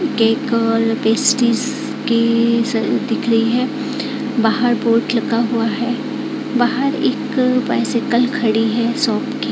Cake और pastries के स दिख रही है बाहर बोर्ड लगा हुआ है बाहर एक बाईसाईकिल खड़ी है शॉप की।